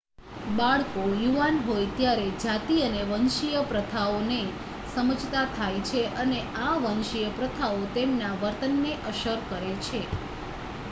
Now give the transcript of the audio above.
બાળકો યુવાન હોય ત્યારે જાતિ અને વંશીય પ્રથાઓને સમજતા થાય છે અને આ વંશીય પ્રથાઓ તેમના વર્તનને અસર કરે છે